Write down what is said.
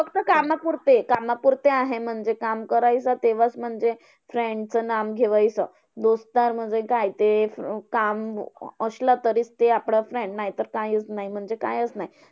फक्त कामापुरते कामापुरते आहे म्हणजे काम करायचं तेव्हाच म्हणजे friend चं नाम घेवायचं. म्हणजे काय ते काम असलं तरी ते आपलंच नाय नायतर कायचं नाय म्हणजे कायचं नाय.